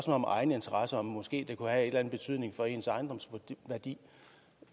om egeninteresse og om det måske kunne have en betydning for ens ejendomsværdi